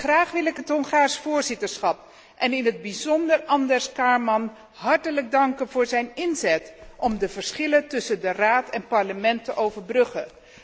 Graag wil ik het Hongaarse voorzitterschap, in het bijzonder András Kámán, hartelijk danken voor zijn inzet om de verschillen tussen de Raad en het Parlement te overbruggen.